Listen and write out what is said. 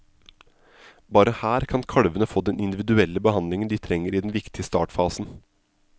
Bare her kan kalvene få den individuelle behandlingen de trenger i den viktige startfasen.